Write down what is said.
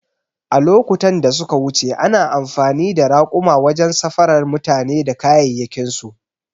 A lokutan da suka wuce ana amfani da raƙuma wajen safarar mutane da kayayyakinsu